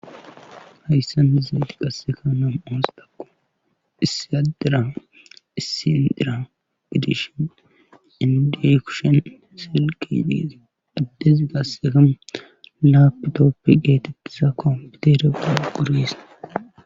Hayssan izeeti qasseka nam7ons daku issiadera issi indira gidishin indi kushen silkidis iddezi qasseka laapitooppiqe tiqisa koompiterauguris